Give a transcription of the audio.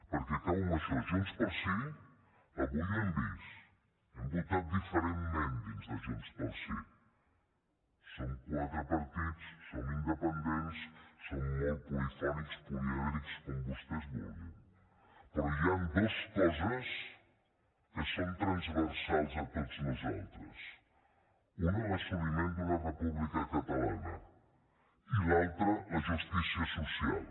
perquè acabo amb això junts pel sí avui ho hem vist hem votat diferentment dins de junts pel sí som quatre partits som independents som molt polifònics polièdrics com vostès vulguin però hi han dues coses que són transversals a tots nosaltres una l’assoliment d’una república catalana i l’altra la justícia social